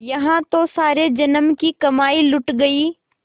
यहाँ तो सारे जन्म की कमाई लुट गयी